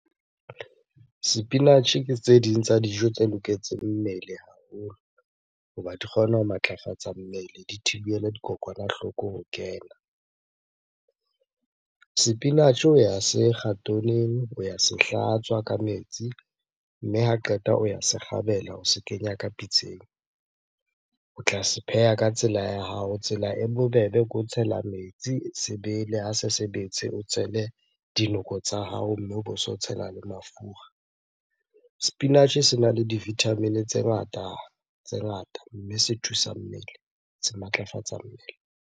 Sepinatjhe ke tse ding tsa dijo tse loketseng mmele haholo hoba di kgona ho matlafatsa mmele, di thibela dikokwanahloko ho kena. Sepinatjhe o ya se kga , o ya se hlatswa ka metsi mme ha qeta o ya se kgabela, o se kenya ka pitseng. O tla se pheha ka tsela ya hao. Tsela e bobebe ke o tshela metsi se bele, ha se se betse, o tshele dinoko tsa hao mme o bo so tshela le mafura. Sepinatjhe sena le di-vitamin-e tse ngata, tse ngata. Mme se thusa mmele, se matlafatsa mmele.